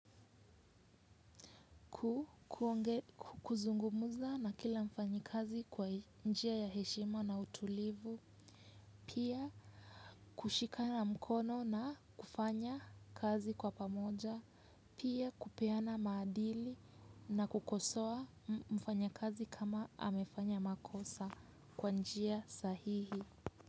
Kuzungumuza na kila mfanyikazi kwa njia ya heshima na utulivu. Pia kushikana mkono na kufanya kazi kwa pamoja. Pia kupeana maadili na kukosoa mfanya kazi kama amefanya makosa kwa njia sahihi.